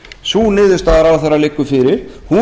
sú niðurstaða ráðherra liggur fyrir